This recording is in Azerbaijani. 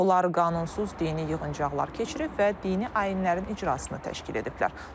Onlar qanunsuz dini yığıncaqlar keçirib və dini ayinlərin icrasını təşkil ediblər.